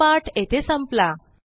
हा पाठ येथे संपला